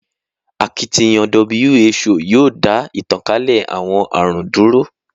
Akitiyan WHO yoo da itankale awọn arun dúró